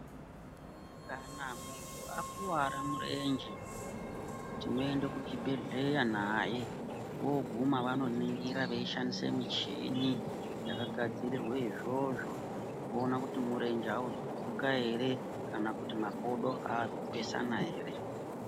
Kana munhu akuvara murenje tinoenda ku chibhedhleya naye oguma vano ningira vei shandisa michini yaka gadzirirwa izvozvo voona kuti murenje auzo kuguka ere kana kuti makodo aazi kupesana ere.